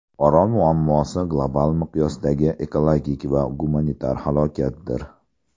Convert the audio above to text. Orol muammosi global miqyosdagi ekologik va gumanitar halokatdir.